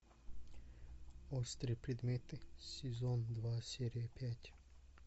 острые предметы сезон два серия пять